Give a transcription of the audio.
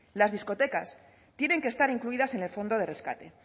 las discotecas tienen que estar incluidas en el fondo de rescate